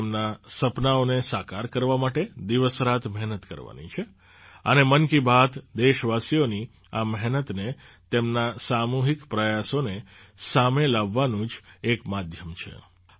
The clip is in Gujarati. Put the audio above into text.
આપણે તેમનાં સપનાંઓને સાકાર કરવા માટે દિવસરાત મહેનત કરવાની છે અને મન કી બાત દેશવાસીઓની આ મહેનતને તેમના સામૂહિક પ્રયાસોને સામે લાવવાનું જ એક માધ્યમ છે